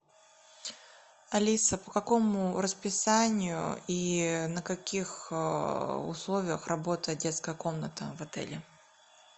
алиса по какому расписанию и на каких условиях работает детская комната в отеле